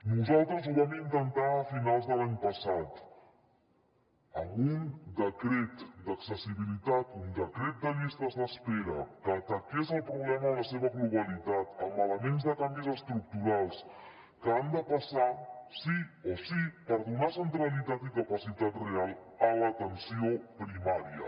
nosaltres ho vam intentar a finals de l’any passat amb un decret d’accessibilitat un decret de llistes d’espera que ataqués el problema en la seva globalitat amb elements de canvis estructurals que han de passar sí o sí per donar centralitat i capacitat real a l’atenció primària